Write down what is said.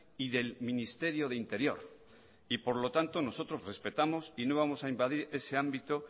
y del ministerio de interior y por lo tanto nosotros respetamos y no vamos a invadir ese ámbito